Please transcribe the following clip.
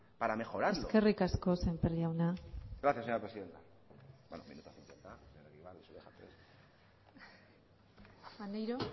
para mejorarlo eskerrik asko sémper jauna gracias señora presidenta maneiro